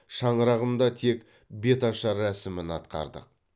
шаңырағымда тек беташар рәсімін атқардық